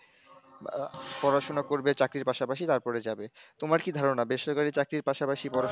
পড়াশোনা করবে চাকরির পাশাপাশি তারপরে যাবে, তোমার কি ধারণা বেসরকারি চাকরির পাশাপাশি পড়াশোনা,